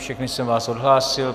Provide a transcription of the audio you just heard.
Všechny jsem vás odhlásil.